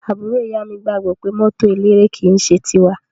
Àbúrò ìyá mi gbagbọ wipe mọto eléré ki n ṣe ti wa.